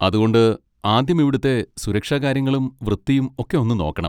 അതുകൊണ്ട് ആദ്യം ഇവിടുത്തെ സുരക്ഷാകാര്യങ്ങളും വൃത്തിയും ഒക്കെ ഒന്ന് നോക്കണം.